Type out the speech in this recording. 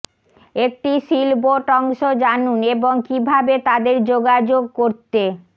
একটি সিলবোট অংশ জানুন এবং কিভাবে তাদের যোগাযোগ করতে